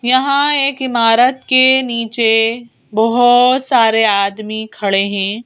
यहां एक इमारत के नीचे बहुत सारे आदमी खड़े हैं।